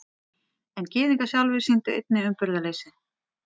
En Gyðingar sjálfir sýndu einnig umburðarleysi.